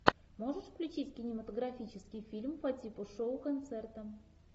можешь включить кинематографический фильм по типу шоу концерта